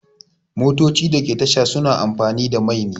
Motocin da ke tasha suna amfani da mai ne